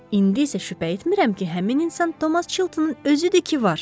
İndi isə şübhə etmirəm ki, həmin insan Thomas Chiltonun özüdü ki, var.